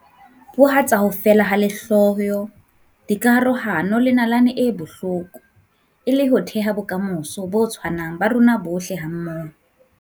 Borwa tsa ho feela ha lehloyo, dikarohano le nalane e bohloko e le ho theha bokamoso bo tshwanang ba rona bohle hammoho.